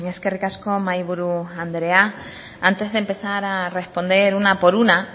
eskerrik asko mahaiburu andrea antes de empezar a responder una por una